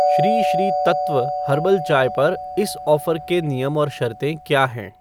Shri Shri Tattva herbal चाय पर इस ऑफ़र के नियम और शर्तें क्या हैं?